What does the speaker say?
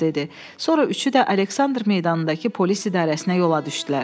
Sonra üçü də Aleksandr meydanındakı polis idarəsinə yola düşdülər.